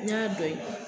N y'a dɔn